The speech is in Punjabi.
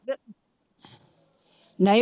ਨਹੀਂ